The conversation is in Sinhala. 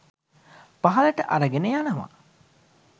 පහළට අරගෙන යනවා.